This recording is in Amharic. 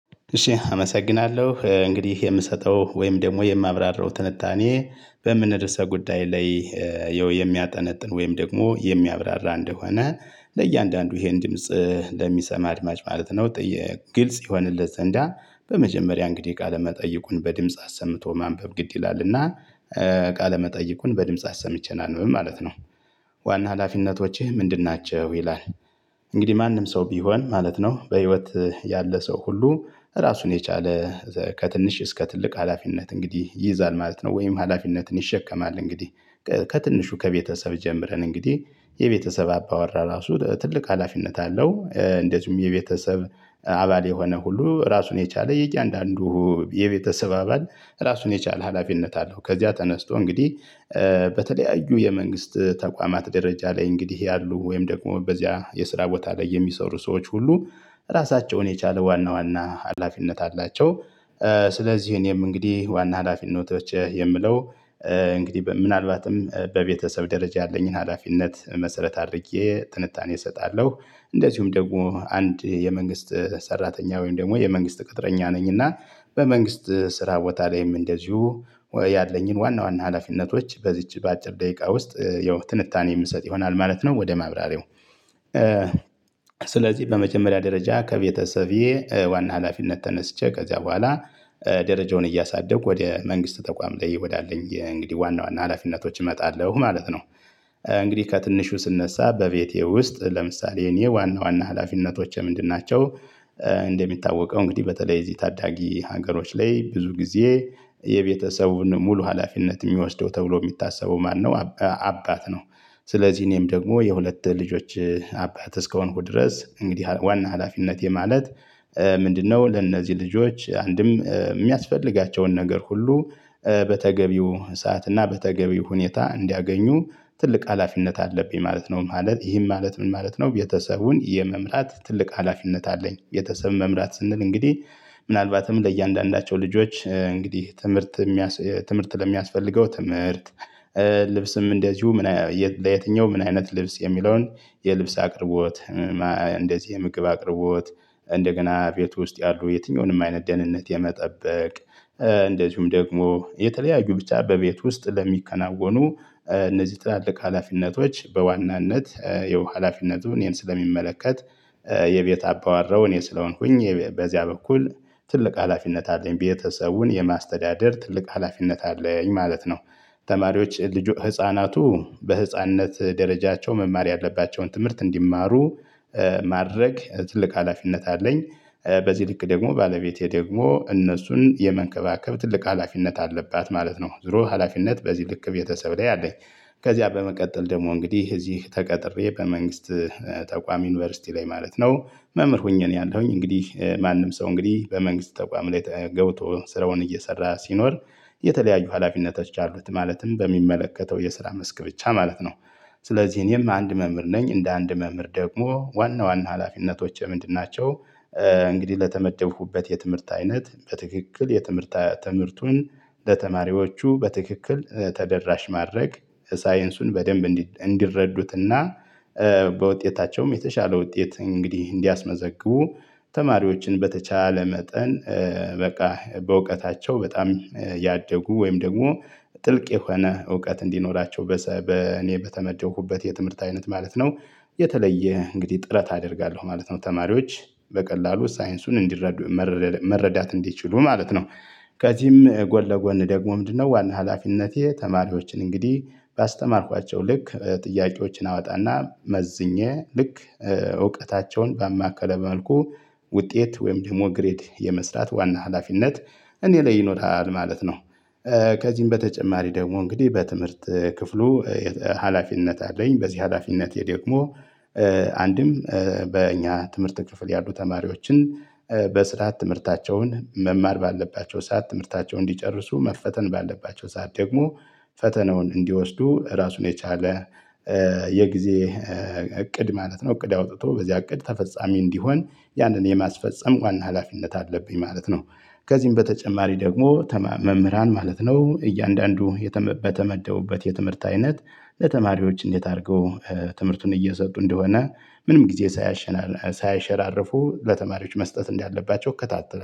እሺ አመሰግናለሁ እንግዲህ የምሰጠው ወይም ደግሞ የማብራራው ትንታኔ በምን ርዕሰ ጉዳይ ላይ የሚያጠነጥን ወይም ደግሞ የሚያብራራ እንደሆነ ለእያንዳንዱ ይሄን ድምጽ ለሚሰማ አድማጭ ማለት ነው። ግልጽ ይሆነለት ዘንዳ በመጀመሪያ እንግዲህ ቃለመጠይቁን በድምጽ አሰምቶ ማንበብ ግድ ይላል እና ቃለ መጠይቁን በድምጽ አሰምቼ ላንብብ ማለት ነው። ዋና ሀላፊነቶችህ ምንድን ናቸው ይላል? እንግዲህ ማንም ሰው ቢሆን ማለት ነው በህይወት ያለ ሰው ሁሉ ራሱን የቻለ ከትንሽ እስከ ትልቅ ሀላፊነት እንግዲህ ይይዛል ማለት ነው። ወይም ሀላፊነትን ይሸከማል እንግዲህ። ከትንሹ ከቤተሰብ ጀምረን እንግዲህ የቤተሰብ አባወራ ራሱ ትልቅ ሀላፊነት አለው። እንደዚሁም የቤተሰብ አባል የሆነ ሁሉ ራሱን የቻለ የእያንዳንዱ የቤተሰብ አባል ራሱን የቻለ ሀላፊነት አለው። ከዚያ ተነስቶ እንግዲህ በተለያዩ የመንግስት ተቋማት ደረጃ ላይ እንግዲህ ያሉ ወይም ደግሞ በዚያ የስራ ቦታ ላይ የሚሰሩ ሰዎች ሁሉ ራሳቸውን የቻለ ዋና ዋና አላፊነት አላቸው። ስለዚህ እኔም እንግዲህ ዋና ሀላፊነቶች የምለው እንግዲህ ምናልባትም በቤተሰብ ደረጃ ያለኝን ሀላፊነት መሰረት አድርጌ ትንታኔ እሰጣለሁ። እንደዚሁም ደግሞ አንድ የመንግስት ሰራተኛ ወይም ደግሞ የመንግስት ቅጥረኛ ነኝ እና በመንግስት ስራ ቦታ ላይም እንደዚሁ ያለኝን ዋና ዋና ሀላፊነቶች በዚች በአጭር ደቂቃ ውስጥ ያው ትንታኔ የምንሰጥ ይሆናል ማለት ነው። ወደ ማብራሪያው ስለዚህ በመጀመሪያ ደረጃ ከቤተሰቤ ዋና ሀላፊነት ተነስቼ ከዚያ በኋላ ደረጃውን እያሳደግኩ ወደ መንግስት ተቋም ላይ ወዳለኝ እንግዲህ ዋና ዋና ሀላፊነቶች እመጣለሁ ማለት ነው። እንግዲህ ከትንሹ ስነሳ በቤቴ ውስጥ ለምሳሌ የኔ ዋና ዋና ሀላፊነቶቼ ምንድን ናቸው? እንደሚታወቀው እንግዲህ በተለይ እዚህ ታዳጊ ሀገሮች ላይ ብዙ ጊዜ የቤተሰቡን ሙሉ ሀላፊነት የሚወስደው ተብሎ የሚታሰቡ ማነው አባት ነው። ስለዚህ እኔም ደግሞ የሁለት ልጆች አባት እስከሆንኩ ድረስ እንግዲህ ዋና ሀላፊነቴ ማለት ምንድነው? ለእነዚህ ልጆች አንድም የሚያስፈልጋቸውን ነገር ሁሉ በተገቢው ሰዓት እና በተገቢው ሁኔታ እንዲያገኙ ትልቅ ሀላፊነት አለብኝ ማለት ነው። ማለት ይህም ማለት ምን ማለት ነው? ቤተሰቡን የመምራት ትልቅ ሀላፊነት አለኝ ቤተሰብ መምራት ስንል እንግዲህ ምናልባትም ለእያንዳንዳቸው ልጆች እንግዲህ ትምህርት። ትምህርት ለሚያስፈልገው ትምህርት። ልብስም እንደዚሁ ምን ለየትኛው ምን አይነት ልብስ የሚለውን የልብስ አቅርቦት። እንደዚህ የምግብ አቅርቦት። እንደገና ቤት ውስጥ ያሉ የትኛውንም አይነት ደህንነት የመጠበቅ እንደዚሁም ደግሞ የተለያዩ ብቻ በቤት ውስጥ ለሚከናወኑ እነዚህ ትላልቅ ሀላፊነቶች በዋናነት የው ሀላፊነቱን እኔን ስለሚመለከት። የቤት አባወራው እኔ ስለሆንኩኝ በዚያ በኩል ትልቅ ሀላፊነት አለኝ ቤተሰቡን የማስተዳደር ትልቅ ሀላፊነት አለኝ ማለት ነው። ተማሪዎች ህፃናቱ በህፃንነት ደረጃቸው መማር ያለባቸውን ትምህርት እንዲማሩ ማድረግ ትልቅ ሀላፊነት አለኝ። በዚህ ልክ ደግሞ ባለቤቴ ደግሞ እነሱን የመንከባከብ ትልቅ ሀላፊነት አለባት ማለት ነው። ዙሮ ሀላፊነት በዚህ ልክ ቤተሰብ ላይ አለኝ። ከዚያ በመቀጠል ደግሞ እንግዲህ እዚህ ተቀጥሬ በመንግስት ተቋሚ ዩኒቨርሲቲ ላይ ማለት ነው። መምህር ሁኜ ነው ያለሁኝ እንግዲህ ማንም ሰው እንግዲህ በመንግስት ተቋም ላይ ተገብቶ ስራውን እየሰራ ሲኖር የተለያዩ ሀላፊነቶች አሉት ማለትም በሚመለከተው የስራ መስክ ብቻ ማለት ነው። ስለዚህ እኔም አንድ መምህር ነኝ እንደ አንድ መምህር ደግሞ ዋና ዋና ሀላፊነቶቸ ምንድን ናቸው? እንግዲህ ለተመደብኩበት የትምህርት አይነት በትክክል የትምህርት ትምህርቱን ለተማሪዎቹ በትክክል ተደራሽ ማድረግ። ሳይንሱን በደንብ እንዲረዱትና በውጤታቸውም የተሻለ ውጤት እንግዲህ እንዲያስመዘግቡ። ተማሪዎችን በተቻለ መጠን በቃ በእውቀታቸው በጣም ያደጉ ወይም ደግሞ ጥልቅ የሆነ እውቀት እንዲኖራቸው። እኔ በተመደሁበት የትምህርት አይነት ማለት ነው። የተለየ እንግዲህ ጥረት አደርጋለሁ ማለት ነው። ተማሪዎች በቀላሉ ሳይንሱን እንዲረዱ መረዳት እንዲችሉ ማለት ነው። ከዚህም ጎን ለጎን ደግሞ ምንድነው? ዋና ሀላፊነቴ ተማሪዎችን እንግዲህ ባስተማርኳቸው ልክ ጥያቄዎችን አወጣና መዝኜ ልክ እውቀታቸውን ባማከለ መልኩ ውጤት ወይም ደግሞ ግሬድ የመስራት ዋና ሀላፊነት እኔ ላይ ይኖራል ማለት ነው። ከዚህም በተጨማሪ ደግሞ እንግዲህ በትምህርት ክፍሉ ሀላፊነት አለኝ። በዚህ ሀላፊነቴ ደግሞ አንድም በእኛ ትምህርት ክፍል ያሉ ተማሪዎችን በስርዓት ትምህርታቸውን መማር ባለባቸው ሰዓት ትምህርታቸውን እንዲጨርሱ መፈተን ባለባቸው ሰዓት ደግሞ ፈተናውን እንዲወስዱ ራሱን የቻለ። የጊዜ እቅድ ማለት ነው እቅድ አውጥቶ በዚህ እቅድ ተፈጻሚ እንዲሆን ያንን የማስፈጸም ዋና ሀላፊነት አለብኝ ማለት ነው። ከዚህም በተጨማሪ ደግሞ መምህራን ማለት ነው እያንዳንዱ በተመደውበት የትምህርት አይነት ለተማሪዎች እንዴት አድርገው ትምህርቱን እየሰጡ እንደሆነ ምንም ጊዜ ሳያሸራርፉ ለተማሪዎች መስጠት እንዳለባቸው እከታተላለሁ